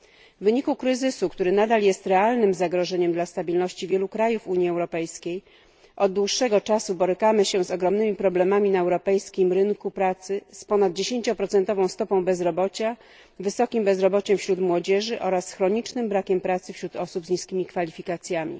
W wyniku kryzysu, który nadal jest realnym zagrożeniem dla stabilności wielu krajów Unii Europejskiej, od dłuższego czasu borykamy się z ogromnymi problemami na europejskim rynku pracy z ponad 10 stopą bezrobocia, wysokim bezrobociem wśród młodzieży oraz chronicznym brakiem pracy wśród osób z niskimi kwalifikacjami.